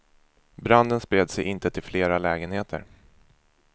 Branden spred sig inte till flera lägenheter.